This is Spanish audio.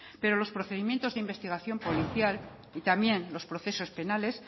pero los procedimientos de investigación policial y también los procesos penales